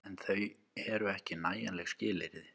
En þau eru ekki nægjanleg skilyrði.